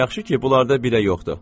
Yaxşı ki, bunlarda birə yoxdur.